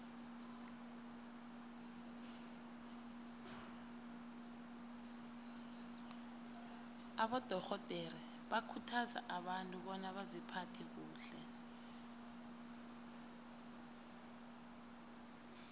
abadorhodere bakhuthaza abantu bona baziphathe kuhle